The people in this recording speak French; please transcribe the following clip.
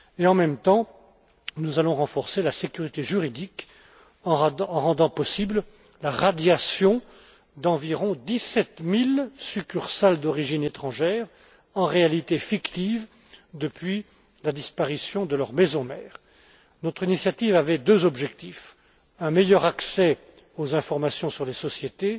en même temps, nous allons renforcer la sécurité juridique en rendant possible la radiation d'environ dix sept mille succursales d'origine étrangère, en réalité fictives depuis la disparition de leur maison mère. Notre initiative avait deux objectifs un meilleur accès aux informations sur les sociétés